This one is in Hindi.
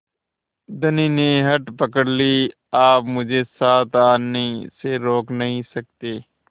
धनी ने हठ पकड़ ली आप मुझे साथ आने से रोक नहीं सकते